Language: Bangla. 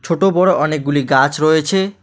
ছোট বড় অনেকগুলি গাছ রয়েছে।